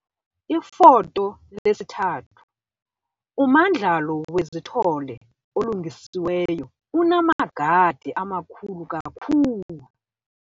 Ifoto 3- Umandlalo wezithole olungisiweyo - unamagade amakhulu kakhulu.